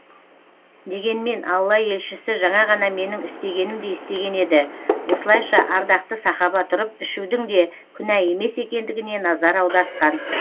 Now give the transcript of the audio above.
дегенмен алла елшісі жаңа ғана менің істегенімдей істеген еді осылайша ардақты сахаба тұрып ішудің де күнә емес екендігіне назар аудартқан